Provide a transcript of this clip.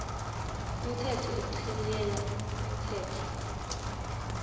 umthetho ochibiyela umthetho